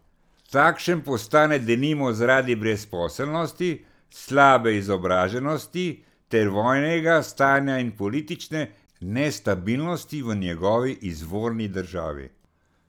Takšen postane denimo zaradi brezposelnosti, slabe izobraženosti ter vojnega stanja in politične nestabilnosti v njegovi izvorni državi.